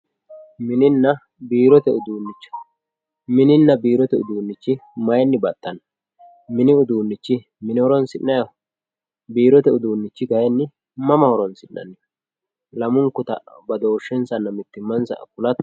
mininna biirote uduunnicho mininna biirote uduunnichi mayinni baxxanno mini uduunnichi mine horoonsi'nayiho biirote uduunnichi mama horoonsi'nayiho lamunkuta mittimmansanna badooshshensa kulatto